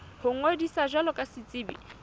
ho ngodisa jwalo ka setsebi